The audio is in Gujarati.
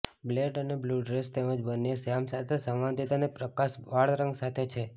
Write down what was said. બ્લેક એન્ડ બ્લુ ડ્રેસ તેમજ બંને શ્યામ સાથે સંવાદિતા અને પ્રકાશ વાળ રંગ સાથે છે